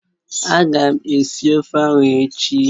Ága m esi ofe ahụ echi